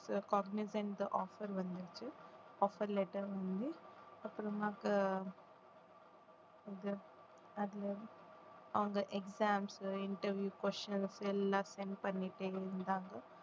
Cognizant offer வந்துச்சு offer letter வந்து அப்புறமா அதுல அவங்க exams, interview, questions எல்லாம் send பண்ணிட்டு இருந்தாங்க